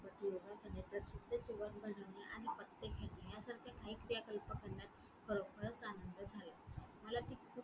योगा करणे बनवणे आणि पत्ते खेळणे यासारख्या काही क्रियाकल्प करण्यात खरोखरच आनंद झाला मला ती